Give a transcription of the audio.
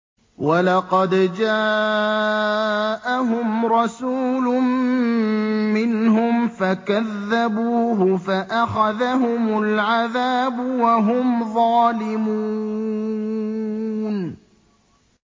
وَلَقَدْ جَاءَهُمْ رَسُولٌ مِّنْهُمْ فَكَذَّبُوهُ فَأَخَذَهُمُ الْعَذَابُ وَهُمْ ظَالِمُونَ